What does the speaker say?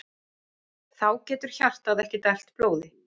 Þá getur hjartað ekki dælt blóði.